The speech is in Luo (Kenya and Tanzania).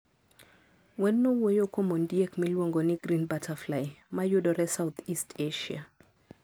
Wendno wuoyo kuom ondiek miluongo ni green butterfly, ma yudore South-East Asia.